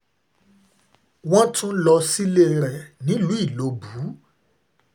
wọ́n tún lọ sílé rẹ̀ nílùú ìlọ́bù